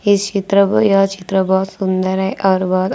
इस चित्र ब यह चित्र बहोत सुंदर है और बर --